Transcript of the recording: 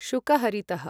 शुकहरितः